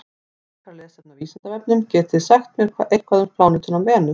Frekara lesefni á Vísindavefnum: Getið þið sagt mér eitthvað um plánetuna Venus?